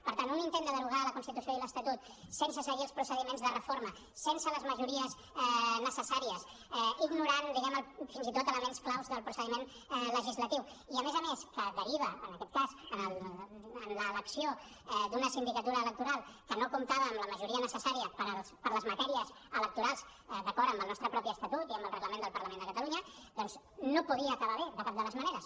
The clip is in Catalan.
per tant un intent de derogar la constitució i l’estatut sense seguir els procediments de reforma sense les majories necessàries ignorant diguem ne fins i tot elements clau del procediment legislatiu i a més a més que deriva en aquest cas en l’elecció d’una sindicatura electoral que no comptava amb la majoria necessària per a les matèries electorals d’acord amb el nostre propi estatut i amb el reglament del parlament de catalunya doncs no podia acabar bé de cap de les maneres